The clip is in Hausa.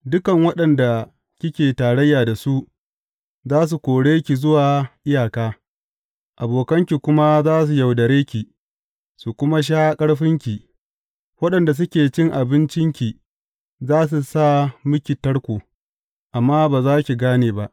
Dukan waɗanda kike tarayya da su, za su kore ki zuwa iyaka; abokanki kuma za su yaudare ki, su kuma sha ƙarfinki; waɗanda suke cin abincinki, za su sa miki tarko, amma ba za ki gane ba.